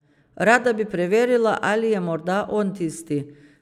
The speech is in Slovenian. Rada bi preverila, ali je morda on tisti.